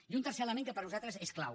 i un tercer element que per a nosaltres és clau